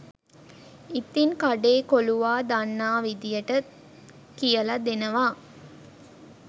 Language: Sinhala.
ඉතින් කඩේ කොලුවා දන්නා විදියට කියල දෙනවා